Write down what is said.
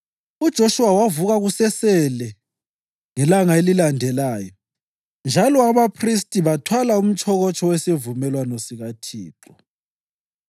UJoshuwa wavuka kusesele ngelanga elilandelayo njalo abaphristi bathwala umtshokotsho wesivumelwano sikaThixo.